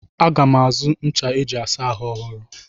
Aga m azụ ncha eji asa ahụ ọhụrụ.